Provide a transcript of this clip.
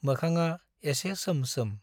मोखाङा एसे सोम सोम।